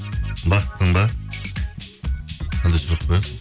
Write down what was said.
бақыттың ба қандай сұрақ қоясың